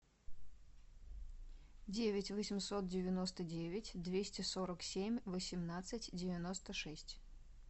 девять восемьсот девяносто девять двести сорок семь восемнадцать девяносто шесть